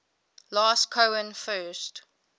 last cohen first